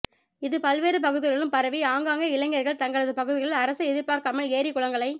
இது பல்வேறு பகுதிகளிலும் பரவி ஆங்காங்கே இளைஞா்கள் தங்களது பகுதிகளில் அரசை எதிா்பாா்க்காமல் ஏரி குளங்களை